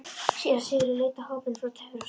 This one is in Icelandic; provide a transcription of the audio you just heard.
Síra Sigurður leit á hópinn frá Torfastöðum.